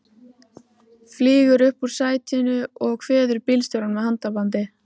Flýgur upp úr sætinu og kveður bílstjórann með handabandi.